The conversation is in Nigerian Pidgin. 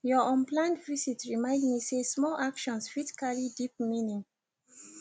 your unplanned visit remind me say small actions fit carry deep meaning